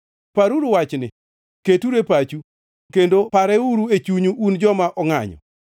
Paruru wachni, keturu e pachu kendo pareuru e chunyu un joma ongʼanyo.